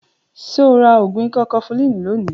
Ṣo ra ògùn ikọ́ kọfulínì lónìí?